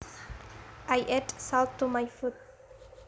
I added salt to my food